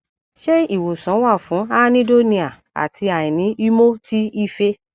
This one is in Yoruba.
nje iwosan wa fun anhedonia ati aini imo ti ife